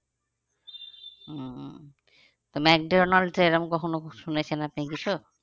উম তো মেকডনাল্ড্স এ এরম কখনো শুনেছেন আপনি কিছু?